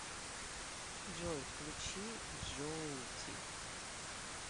джой включи джоути